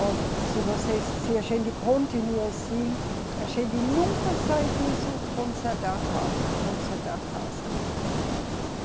Olhe, se vocês, se a gente continuar assim, a gente nunca sai de só consertar casa, consertar casa, né. Uhum.